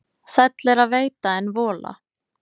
Sæll er að veita en vola.